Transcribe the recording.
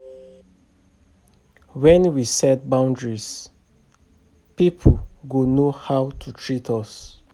When we set boundaries pipo go know how to treat us